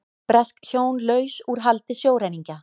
Bresk hjón laus úr haldi sjóræningja